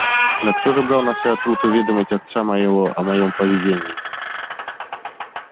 но кто же брал на себя труд уведомить отца моего о моём поведении